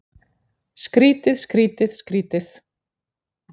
Skrýtið, skrýtið, skrýtið.